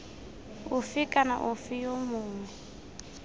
ofe kana ofe yo mongwe